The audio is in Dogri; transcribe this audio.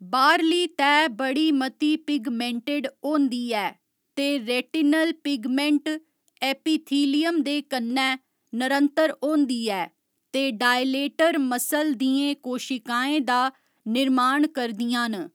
बाह्‌रली तैह् बड़ी मती पिगमेंटेड होंदी ऐ ते रेटिनल पिगमेंट एपिथीलियम दे कन्नै नरंतर होंदी ऐ ते डायलेटर मसल दियें कोशिकाएं दा निर्माण करदियां न।